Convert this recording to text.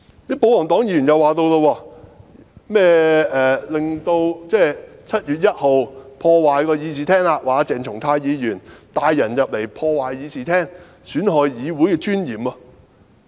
保皇黨議員又提出，鄭松泰議員在7月1日帶人進入和破壞會議廳，損害議會的尊嚴。